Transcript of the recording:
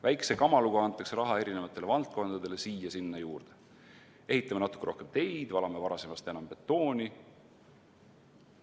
Väikese kamaluga antakse raha eri valdkondadele siia-sinna juurde: ehitame natuke rohkem teid, valame varasemast enam betooni.